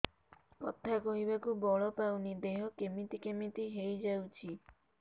କଥା କହିବାକୁ ବଳ ପାଉନି ଦେହ କେମିତି କେମିତି ହେଇଯାଉଛି